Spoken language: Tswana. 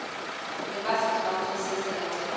leba setshwantsho se se latelang